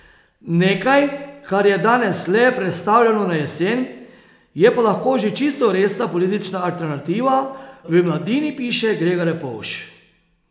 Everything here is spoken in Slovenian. Nekaj, kar je danes le prestavljeno na jesen, je pa lahko že čisto resna politična alternativa, v Mladini piše Grega Repovž.